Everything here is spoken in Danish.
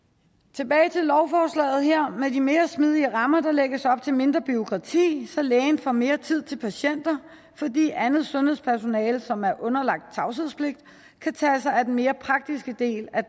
tilbage til lovforslaget her med de mere smidige rammer der lægges op til mindre bureaukrati så lægen får mere tid til patienter fordi andet sundhedspersonale som er underlagt tavshedspligt kan tage sig af den mere praktiske del af